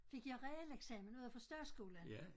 Fik jeg realeksamen ude fra statsskolen